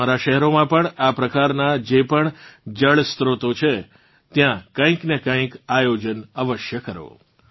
તમારાં શહેરોમાં પણ આ પ્રકારનાં જે પણ જળસ્ત્રોત છે ત્યાં કંઇક ને કંઇક આયોજન અવશ્ય કરો